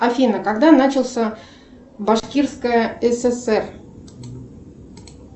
афина когда начался башкирская сср